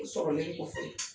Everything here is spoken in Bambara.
o sɔrɔlen kɔfɛ